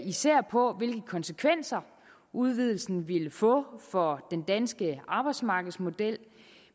især på hvilke konsekvenser udvidelsen ville få for den danske arbejdsmarkedsmodel